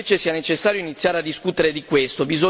Ritengo invece sia necessario iniziare a discutere di questo.